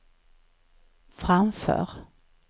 framför